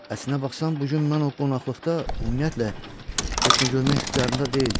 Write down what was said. Əslinə baxsan bu gün mən o qonaqlıqda ümumiyyətlə heç nə görmək ixtiyarında deyildim.